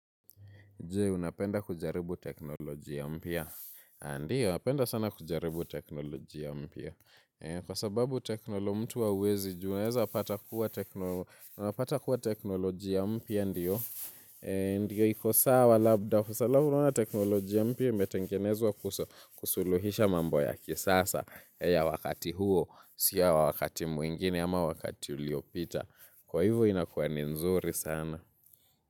Jee, unapenda kujaribu teknolojia mpya? Ndiyo, napenda sana kujaribu teknolojia mpya. Kwa sababu teknolo mtu hauwezi jua unaweza, unapata kuwa teknolojia ya mpya ndiyo. Ndiyo iko sawa labda, alafu unaona teknolojia mpya imetengenezwa kusuluhisha mambo ya kisasa ya wakati huo, sio ya wakati mwingine ama wakati uliopita. Kwa hivyo inakuwa ni nzuri sana.